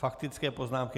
Faktické poznámky.